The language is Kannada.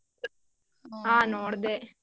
ಹ ನೋಡ್ದೆ.